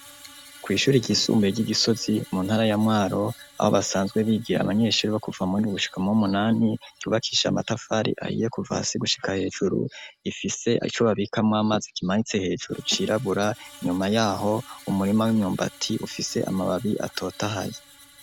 Kw'ishuri ryisumbuye ry'igisozi mu ntara yamwaro abo basanzwe bigira abanyeshuri bo kuva muri ugushikamwo w'umunani yubakisha amatafari ahiye kuva hasi gushika hejuru ifise acobabikamwo amazi kimanitse hejuru cirabura inyuma yaho umurima w'imyumbati ufise amababi atotahaye.